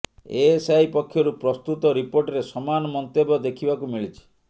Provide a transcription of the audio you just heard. ASI ପକ୍ଷରୁ ପ୍ରସ୍ତୁତ ରିପୋର୍ଟରେ ସମାନ ମନ୍ତବ୍ୟ ଦେଖିବାକୁ ମିଳିଛି